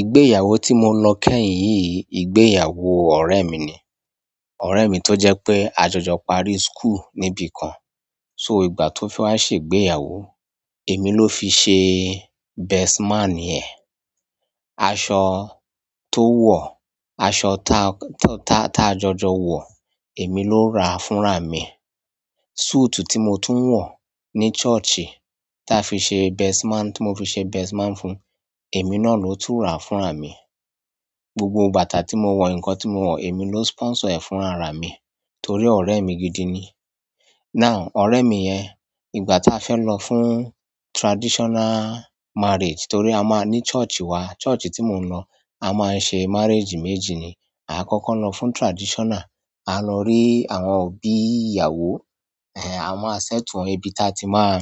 Ìgbéyàwó tí mo lọ kẹ́yìn yìí, ìgbéyàwó ọ̀rẹ́ mi ni. Ọ̀rẹ́ mi tó jẹ́ pé a jọjọ parí school níbi kan. So ìgbà tó fẹ́ wá ṣe ìgbéyàwó, èmi ló fi ṣe best man ẹ̀. Aṣọ tó wọ̀, aṣọ ta, ta, ta a jọjọ wọ̀, èmi ló ra fúnra mi. Suit tí mo tún ń wọ̀ ní church, tí a fi ṣe best man, tí mo fi ṣe best man fún, èmi náà ló tún rà fúnra mi. Gbogbo bàtà tí mo wọ̀, ǹkan tí mo wọ̀, èmi ló sponsor ẹ̀ fúnra mi torí ọ̀rẹ́ mi gidi ni. Now ọ̀rẹ́ mi yẹn, ìgbà táa fẹ́ lọ fún traditional marriage torí a máa ní church wa. Church tí mo ń lọ, a máa ń ṣe marriage méjì ni. A kọ́kọ́ ń lọ fún traditional, a lọ rí àwọn òbí ìyàwó, eh a máa ṣẹ́tù wọn bí táa ti máa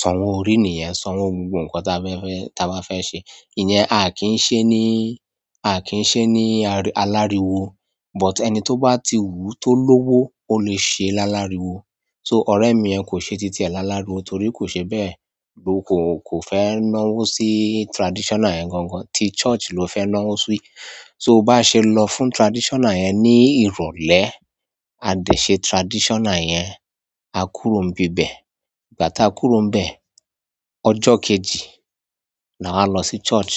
sọ wọn orí nìyẹn, san wó gbogbo ǹkan táa fẹ́ fẹ́, táa bá fẹ́ ṣe. Ìyẹn a kín sé ní aláríwo but ẹni tó bá ti hù tó lówó, ó lè ṣe lááláriwo. So, ọ̀rẹ́ mi yẹn, kò se ti tiẹ̀ láláriwo, torí kò se bẹ, ko fẹ́ náwó sí traditional yẹn gan gan. Ti church ló fẹ́ náwó sí. So bá ṣe lọ fún traditional yẹn ní ìrọ̀lẹ́, a dẹ̀ ṣe traditional yẹn, a kúrò ń bi bẹ̀. Ìgbà táa kúrò ń bẹ, ọjọ́ kejì la wá lọ sí church.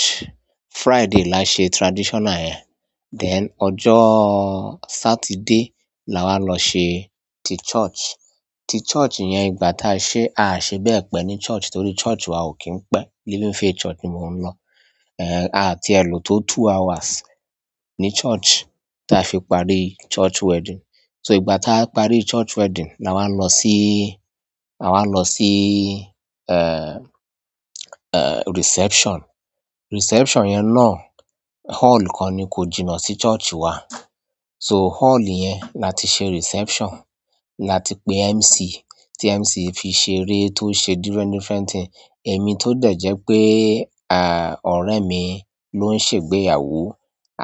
Friday la ṣe traditional yẹn, then ọjọ́ Saturday la wá lọ ṣe ti church. Ti church yẹn ìgbà táa ṣe, a à ṣe bẹ́ẹ̀ pẹ́ ní church torí church wa ò kí ń pẹ́. Living Faith Church ni mo ń lọ. Eh a ti èlò tó two hours ní church táa fi parí church wedding. So ìgbà táa parí church wedding la wá lọ sí, la wá lọ sí reception. Reception yẹn náà hall kan ni kò jìnà sí church wa. So hall yẹn la ti ṣe reception. La ti pé MC, tí MC fi ṣe eré tó ṣe different different thing. Èmi tó dẹ̀ jẹ́ pé ọ̀rẹ́ mi ló ń ṣe ìgbéyàwó,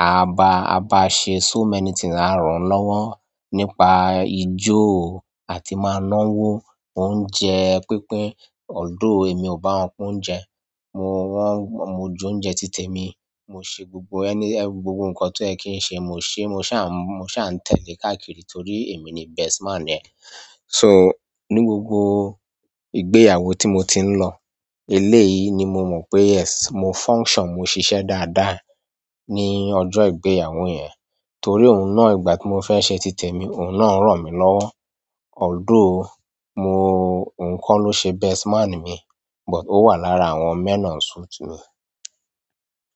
a ba, a ba ṣe so many thing la ràn lọ́wọ́ nípa ijó àti máa náwó, oúnjẹ pínpín. Ọ̀dọ́ mi ò bá wọn kun oúnjẹ. Mo wọ́n, mo jẹ oúnjẹ titẹ̀ mi, mo ṣe gbogbo ẹni, gbogbo ǹkan tó ẹ kí ń ṣe mo ṣe. Mo ṣà ń, mo ṣà ń tẹ̀le káàkiri torí èmi ni best man ẹ. Ni gbogbo ìgbéyàwó tí mo tí n lọ, eléyìí ní mọ mọ́ pé yes, mo function, mo ṣiṣẹ́ dáadáa lọ́jọ́ ìgbéyàwó yẹn. Torí òhun náà ìgbà tí mo fẹ́ ṣe titẹ̀ mi, òhun náà rán mi lọ́wọ́. Ọ̀dọ́ mi òhun kọ́ ló ṣe best man mi but ó wà lára àwọn men on suit mi.